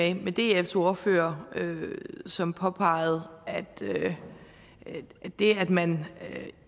enig med dfs ordfører som påpegede at det at man